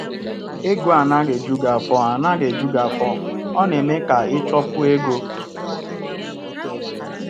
Ego anaghị eju anaghị eju gị afọ, ọ na-eme ka ị chọkwuo ego.